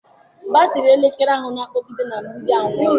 Batrị elekere ahụ a na-akpọgide na mgbidi anwụọla.